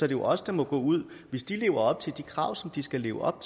det os der må gå ud hvis de lever op til de krav som de skal leve op